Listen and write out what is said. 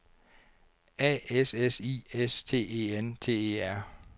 A S S I S T E N T E R